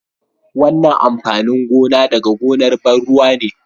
wannan amfanin gona daga gonar ban ruwa ne